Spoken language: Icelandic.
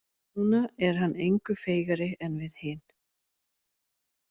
Núna er hann engu feigari en við hin.